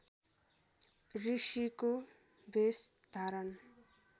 ऋषिको भेष धारण